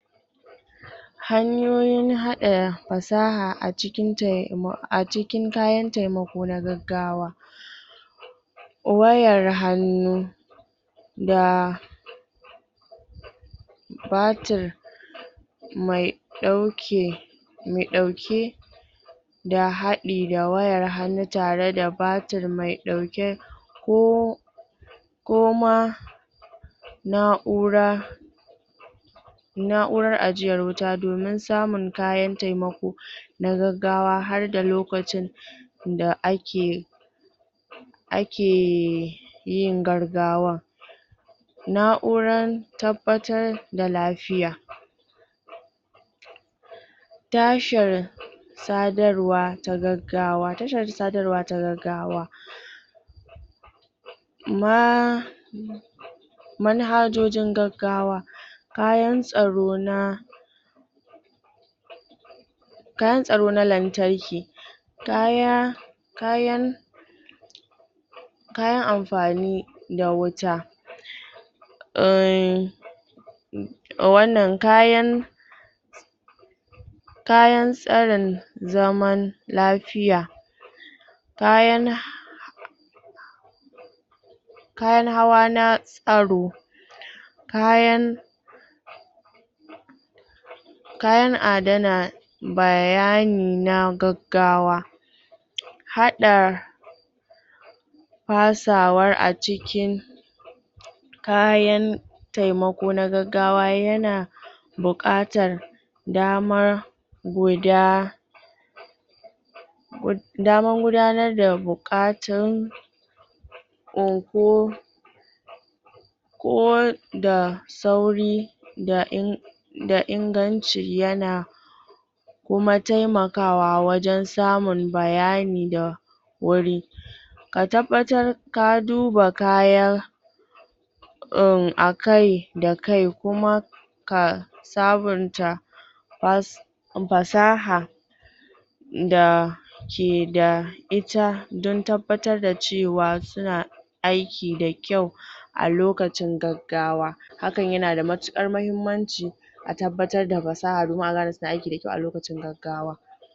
Hnayoyin haɗa fasaha a cikin kayan taimako na gaggawa wayar hannu da batir mai ɗauke mai ɗauke da haɗi da wayar hannu tare da batir mai ɗauke ko ko ma na'ura na'urar ajiyar wuta domin samun kayan taimako na gaggawa har da lokacin da ake ake yin gaggawan na'uran tabbatar da lafiya tashir sadarwa ta gaggawa, tashar sadarwa ta gaggawa ma manhajojin gaggawa kayan tsaro na kayan tsaro na lantarki kaya, kayan kayan amfani da wuta umm, wannan kayan kayan tsarin zaman lafiya kayan kayan hawa na tsaro kayan kayan adana bayani na gaggawa haɗa fasawar a ciki kayan taimako na gaggawa yana buƙatar damar guda damar gudanar da buƙatu ko da sauri da in da inganci yana kuma taimakawa wajen samun bayani da wuri ka tabbatar ka duba kaya um, akai da kai kuma ka sabunta na su fasaha da ke da ita don tabbatar da cewa suna aiki da kyau a lokacin gaggawa hakan yana da matuƙar mahimmanci a tabbatar da fasaha kuma a gane tana aiki da kyau a lokacin gaggawa.